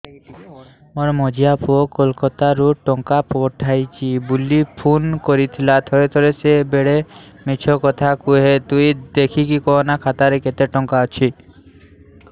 ମୋର ମଝିଆ ପୁଅ କୋଲକତା ରୁ ଟଙ୍କା ପଠେଇଚି ବୁଲି ଫୁନ କରିଥିଲା ଥରେ ଥରେ ସିଏ ବେଡେ ମିଛ କଥା କୁହେ ତୁଇ ଦେଖିକି କହନା ଖାତାରେ କେତ ଟଙ୍କା ଅଛି